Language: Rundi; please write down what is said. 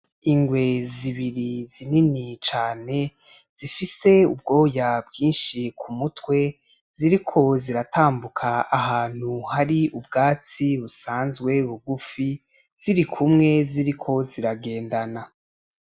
Ingwe zibiri zinini cane zifise ubwoya bwinshi ku mutwe, ziriko ziratambuka ahantu hari ubwatsi busanzwe bugufi, zirikumwe ziriko ziragendana.